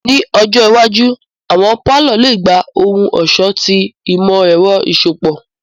Ni ọjọ iwaju, awọn palọ le gba ohun-ọṣọ ti imọ-ẹrọ iṣọpọ.